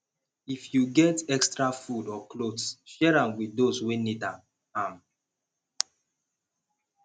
if yu get extra food or clothes share dem with dose wey nid am am